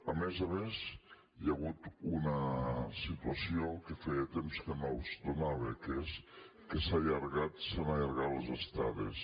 a més a més hi ha hagut una situació que feia temps que no es donava que és que s’han allargat les estades